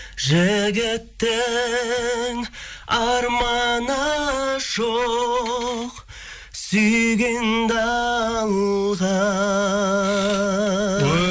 жігіттің арманы жоқ сүйгенді алған